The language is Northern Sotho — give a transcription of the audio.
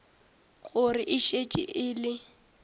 gore e šetše e le